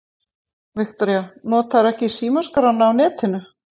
Viktoría: Notarðu ekki símaskrána á netinu?